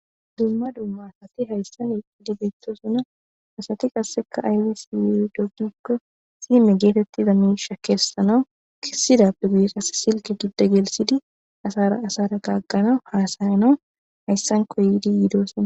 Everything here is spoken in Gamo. Dumma dumma asati hayssan eidibetosuna asati qasseka aywisi yi dogdikko sime geetettiza miisha kessanawu kissida pugiqas silki gidda gelsidi asara asara kaagqanau haasayana hayssanko yiidi yiidosona.